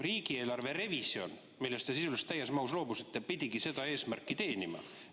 Riigieelarve revisjon, millest te sisuliselt täies mahus loobusite, pidigi seda eesmärki teenima.